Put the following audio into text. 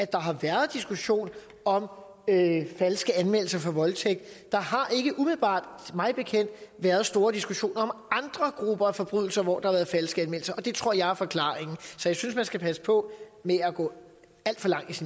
der har været diskussion om falske anmeldelser for voldtægt der har ikke umiddelbart mig bekendt været store diskussioner om andre grupper af forbrydelser hvor der har været falske anmeldelser det tror jeg er forklaringen så jeg synes man skal passe på med at gå alt for langt